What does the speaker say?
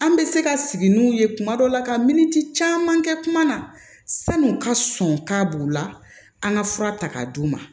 An bɛ se ka sigi n'u ye kuma dɔ la ka miniti caman kɛ kuma na san'u ka sɔn k'a b'u la an ka fura ta k'a d'u ma